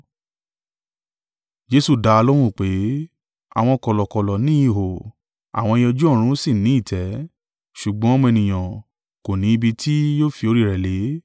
Jesu dá lóhùn pé, “Àwọn kọ̀lọ̀kọ̀lọ̀ ní ihò, àwọn ẹyẹ ojú ọ̀run sì ni ìtẹ́; ṣùgbọ́n Ọmọ Ènìyàn kò ní ibi tí yóò fi orí rẹ̀ lé.”